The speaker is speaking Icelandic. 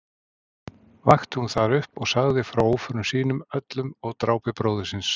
Vakti hún þar upp og sagði frá óförum sínum öllum og drápi bróður síns.